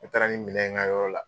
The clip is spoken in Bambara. N taara ni minɛ ye n ka yɔrɔ la